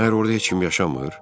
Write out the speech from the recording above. Məgər orada heç kim yaşamır?